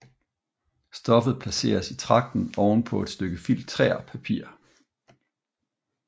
Stoffet placeres i tragten oven på et stykke filtrérpapir